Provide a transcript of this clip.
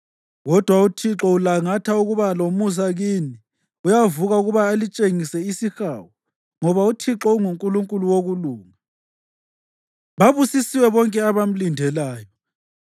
Kodwa uThixo ulangatha ukuba lomusa kini; uyavuka ukuba alitshengise isihawu. Ngoba uThixo unguNkulunkulu wokulunga. Babusisiwe bonke abamlindeleyo!